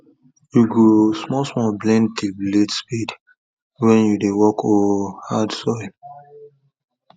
you go small small bend the spade blade wen you dey work oh hard soil